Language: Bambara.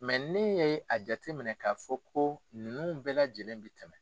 ne ye a jate minɛ k'a fɔ ko ninnu bɛɛ lajɛlen bɛ tɛmɛ.